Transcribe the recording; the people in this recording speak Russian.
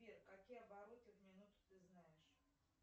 сбер какие обороты в минуту ты знаешь